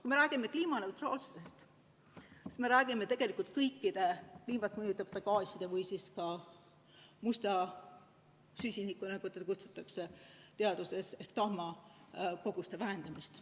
Kui me räägime kliimaneutraalsusest, siis me räägime tegelikult kõikide kliimat mõjutavate gaaside ja ka musta süsiniku, nagu teda kutsutakse teaduses, ehk tahma koguste vähendamisest.